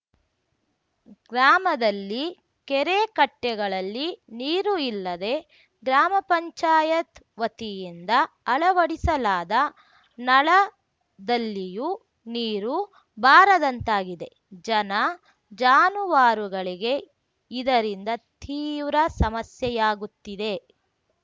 ಗ್ರಾಮದಲ್ಲಿ ಕೆರೆಕಟ್ಟೆಗಳಲ್ಲಿ ನೀರು ಇಲ್ಲದೆ ಗ್ರಾಮ ಪಂಚಾಯತ್ ವತಿಯಿಂದ ಅಳವಡಿಸಲಾದ ನಳದಲ್ಲಿಯೂ ನೀರು ಬಾರದಂತಾಗಿದೆ ಜನ ಜಾನುವಾರುಗಳಿಗೆ ಇದರಿಂದ ತೀವ್ರ ಸಮಸ್ಯೆಯಾಗುತ್ತಿದೆ